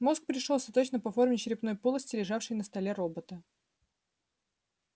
мозг пришёлся точно по форме черепной полости лежавшего на столе робота